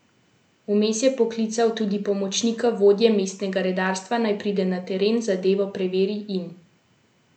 Vmes je poklical tudi pomočnika vodje mestnega redarstva, naj pride na teren, zadevo preveri in uredi.